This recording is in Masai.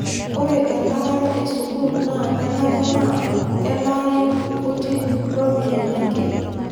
Ore elaare esukuul naa kenare naa kelaayu/nkuti ropiyiani ake